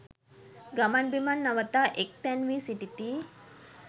ගමන් බිමන් නවතා එක් තැන් වී සිටිති.